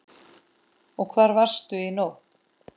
Og hvar varstu í nótt?